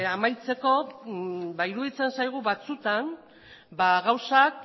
amaitzeko ba iruditzen zaigu batzuetan gauzak